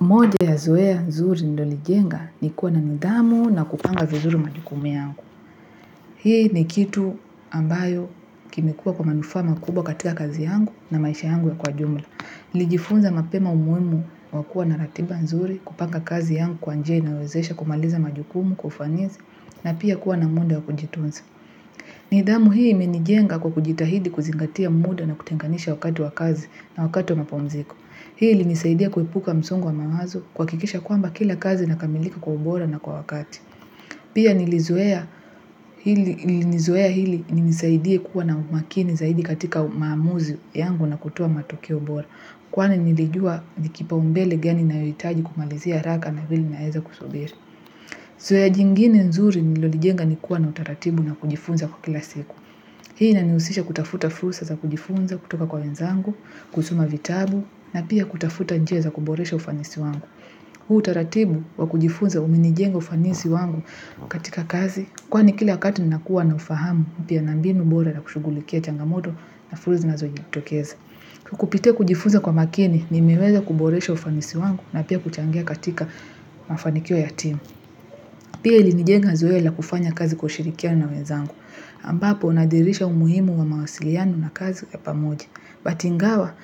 Moja ya zoe ya nzuri ndo lijenga ni kuwa na nidamu na kupanga vizuri majukumu yangu. Hii ni kitu ambayo kimikuwa kwa manufama kubwa katika kazi yangu na maisha yangu ya kwa jumla. Lijifunza mapema umuhimu wakua na ratiba nzuri kupanga kazi yangu kwa njei nawezesha kumaliza majukumu kufanizi na pia kuwa na munda wakujitunza. Nidamu hii menijenga kwa kujitahidi kuzingatia muda na kutenganisha wakatu wa kazi na wakatu wa mapomziko. Hii nisaidia kuipuka msungu wa mamazo kwa kikisha kwamba kila kazi na kamilika kwa ubora na kwa wakati. Pia nilizohea hili nisaidia kuwa na umakini zaidi katika maamuzi yangu na kutua matoki ubora. Kwa nilijua nikipa umbele geni na yoritaji kumalizia raka na hili na heza kusubiri. Zoya jingini nzuri nilolijenga nikuwa na utaratibu na kujifunza kwa kila siku. Hii naniusisha kutafuta fusa za kujifunza kutoka kwa wenzangu, kusuma vitabu, na pia kutafuta njia za kuboresha ufanisi wangu. Hu utaratibu wa kujifunza uminijenga ufanisi wangu katika kazi, kwa ni kila kati nakuwa na ufahamu pia nambinu mbora na kushugulikia changamoto na frusa na zoya tokeza. Kukupite kujifunza kwa makini, nimeweza kuboresha ufanisi wangu na pia kuchangia katika mafanikio ya timu. Pia ilinijenga zoe la kufanya kazi kwa ushirikianu na wenzangu, ambapo unadirisha umuhimu wa mawasilianu na kazi ya pamoji. Batingawa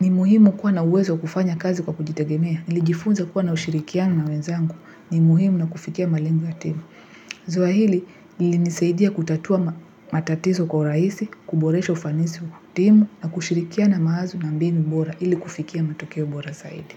ni muhimu kuwa na uwezo kufanya kazi kwa kujitegemea, ilijifunza kuwa na ushirikiano na wenzangu, ni muuhimu na kufikia malengu ya timu. Zoa hili ilinisaidia kutatua matatiso kwa raisi, kuboresho fanisi kutimu, na kushirikia na maaza na mbini bora ili kufikia matokeo bora saidi.